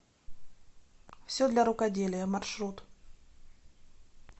все для рукоделия маршрут